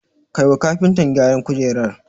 Kai wa kafinta gyaran kujerar